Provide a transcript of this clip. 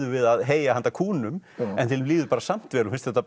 við að heyja handa kúnum en þeim líður samt vel og finnst þetta